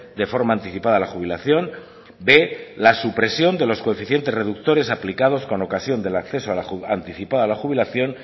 de forma anticipada la jubilación b la supresión de los coeficientes reductores aplicados con ocasión del acceso anticipada a la jubilación